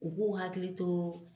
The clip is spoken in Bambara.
U b'u hakili to